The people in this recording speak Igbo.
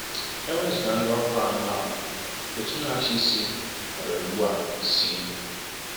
E wezụga ndị ọhụrụ anọ ahụ, Òtù Na-achị Isi nwere ugbu a C.